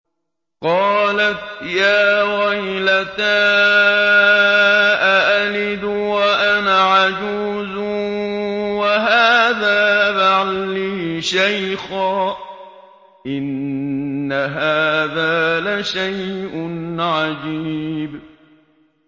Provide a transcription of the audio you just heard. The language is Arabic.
قَالَتْ يَا وَيْلَتَىٰ أَأَلِدُ وَأَنَا عَجُوزٌ وَهَٰذَا بَعْلِي شَيْخًا ۖ إِنَّ هَٰذَا لَشَيْءٌ عَجِيبٌ